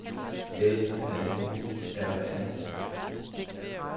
L A U R A